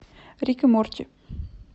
рик и морти